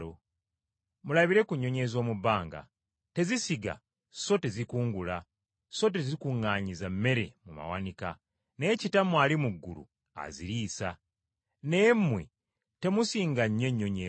Mulabire ku nnyonyi ez’omu bbanga! Tezisiga so tezikungula so tezikuŋŋaanyiza mmere mu tterekero, naye Kitammwe ali mu ggulu aziriisa. Naye mmwe temusinga nnyo ennyonyi ezo?